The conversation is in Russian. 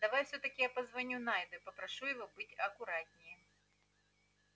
давай всё-таки я позвоню найду и попрошу его быть аккуратнее